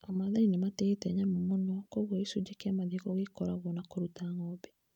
Amaathai nĩ matĩĩte mũno nyamũ, koguo gĩcunjĩ kĩa mathiko gĩkoragwo na kũruta ng'ombe.